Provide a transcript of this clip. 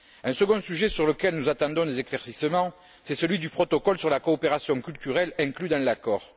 Un second sujet sur lequel nous attendons des éclaircissements, c'est celui du protocole sur la coopération culturelle, inclus dans l'accord.